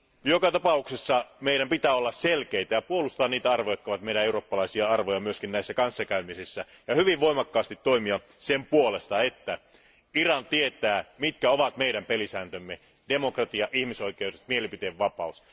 Joka tapauksessa meidän pitää olla selkeitä ja puolustaa niitä arvoja, jotka ovat eurooppalaisia arvoja myös näissä kanssakäymisissä. Lisäksi meidän pitää hyvin voimakkaasti toimia sen puolesta, että Iran tietää, mitkä ovat meidän pelisääntömme demokratia, ihmisoikeudet ja mielipiteenvapaus.